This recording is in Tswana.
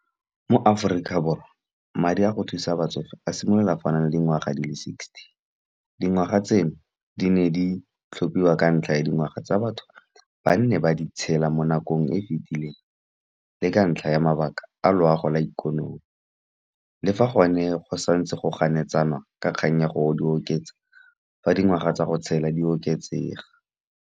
Mo Aforika Borwa wa madi a go thusa batsofe a simolola fa o na le dingwaga di le sixty. Dingwaga tseno di ne di tlhophiwa ka ntlha ya dingwaga tsa batho, ba nne ba di tshela mo nakong e fitileng. Le ka ntlha ya mabaka a loago la ikonomi, le fa gone go santse go ganetsanwa ka kgang ya gore o di oketsa, fa dingwaga tsa go tshela di oketsega.